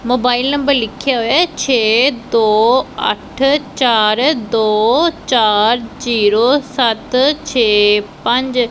Mobile number ਲਿਖੇ ਹੋਏ ਐ ਛੇ ਦੋ ਅੱਠ ਚਾਰ ਦੋ ਚਾਰ ਜ਼ੀਰੋ ਸੱਤ ਛੇ ਪੰਜ।